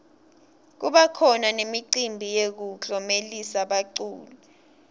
kubakhona nemicimbi yekuklomelisa baculi